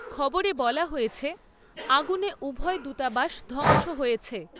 খবরে বলা হয়েছে, আগুনে উভয় দূতাবাস ধ্বংস হয়েছে।